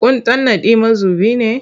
Kun tanadi mazubi ne?